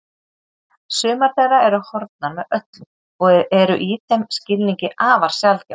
Sumar þeirra eru horfnar með öllu og eru í þeim skilningi afar sjaldgæfar